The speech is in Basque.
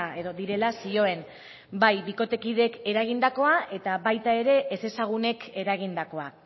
edo direla zioen bai bikotekideek eragindakoa eta baita ere ezezagunek eragindakoa